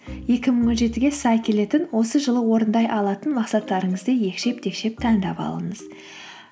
екі мың он жетіге сай келетін осы жылы орындай алатын мақсаттарыңызды екшеп текшеп таңдап алыңыз